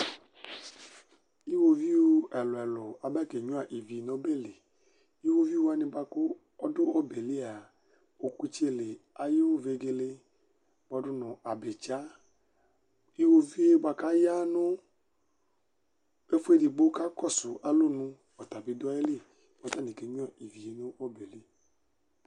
Iwoviu ɛlʋ ɛlʋ aba kenyua ivi nʋ ɔbɛli, iwoviu wani bʋakʋ adʋ ɔbeli a ɔkʋtseli ayʋ vegele kpɔdʋ nʋ abitsa, iwoviu yɛ bʋakʋ ayanʋ ɛfʋ edigbo kʋ akɔsʋ alɔnʋ ɔtabi dʋ ayili kʋ ɔtani kenyuavivi nʋ ɔbɛli